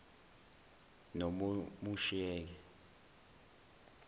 nomomusheke